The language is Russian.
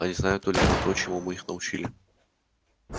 они знают только то чему мы их научили